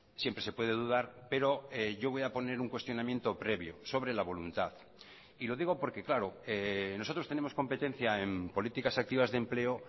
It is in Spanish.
siempre se puede dudar pero yo voy a poner un cuestionamiento previo sobre la voluntad y lo digo porque claro nosotros tenemos competencia en políticas activas de empleo